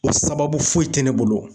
O sababu foyi te ne bolo